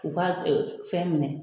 U ka fɛn minɛ